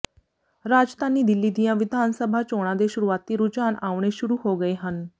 ਰਾਜਧਾਨੀ ਦਿੱਲੀ ਦੀਆਂ ਵਿਧਾਨ ਸਭਾ ਚੋਣਾਂ ਦੇ ਸ਼ੁਰੂਆਤੀ ਰੁਝਾਨ ਆਉਣੇ ਸ਼ੁਰੂ ਹੋ ਗਏ ਹਨ